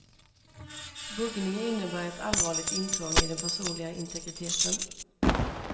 Buggning innebär ett allvarligt intrång i den personliga integriteten.